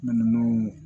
Minnu